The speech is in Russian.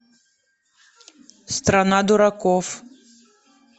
страна дураков